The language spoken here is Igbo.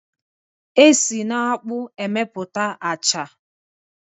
E si n'akpụ emeputa a acha.